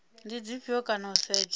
ndi dzifhio kana u setsha